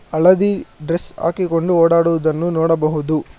ಹಳದಿ ಡ್ರೆಸ್ ಹಾಕಿಕೊಂಡು ಓಡಾಡುವುದನ್ನು ನೋಡಬಹುದು.